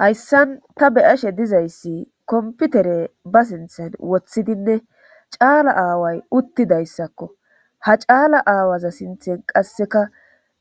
hayssan ta beyashe dizayssi komputere ba sinthen woththidinne caala aaway uttidayssakko ha caala aawaza sinthen qasseka